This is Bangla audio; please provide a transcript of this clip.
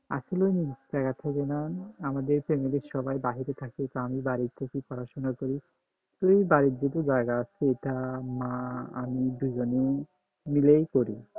আসলে নিজ তাগাদা থেকে না আমাদের ফেমিলির সবাই বাহিরে থাকে তো আমি বাড়ি থেকে পড়াশোনা করি তো বাড়ির দিকে জায়গা আছে এটা মা আমি দুইজনেই মিলেই করি